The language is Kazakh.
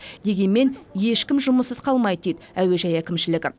дегенмен ешкім жұмыссыз қалмайды дейді әуежай әкімшілігі